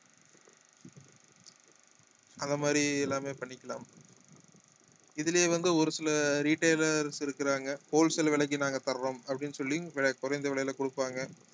அந்த மாதிரி எல்லாமே பண்ணிக்கலாம் இதுலயே வந்து ஒரு சில retailers இருக்கிறாங்க wholesale விலைக்கு நாங்க தர்றோம் அப்படின்னு சொல்லி குறைந்த விலையில கொடுப்பாங்க